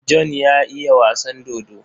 John ya iya wasan dodo.